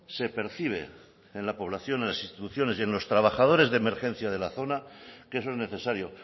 se percibe en la población en las instituciones y en los trabajadores de emergencia de la zona que eso es necesario